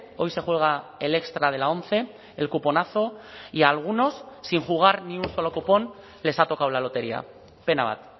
hoy se juega el extra de la once el cuponazo y algunos sin jugar ni un solo cupón les ha tocado la lotería pena bat